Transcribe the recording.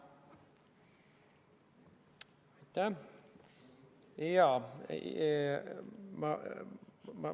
Aitäh!